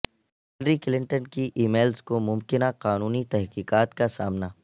Hillary Clinton کی emails کو ممکنہ قانونی تحقیقات کا سامنا